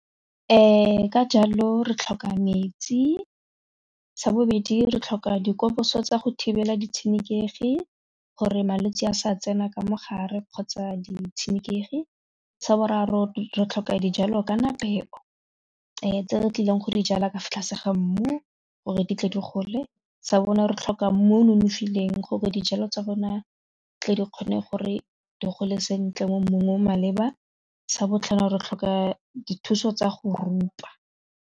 Ka jalo re tlhoka metsi, sa bobedi re tlhoka dikoposo tsa go thibela ditshenekegi gore malwetsi a sa tsena ka mogare kgotsa ditshenekegi sa boraro re tlhoka dijalo kana peo tse di tlileng go di jala ka fa tlase ga mmu gore di tle di gole, sa borao re tlhoka mmu o nonofileng gore dijalo tsa rona tle di kgone gore di gole sentle mo mmung o o maleba, sa botlhano re tlhoka dithuso tsa go rupa.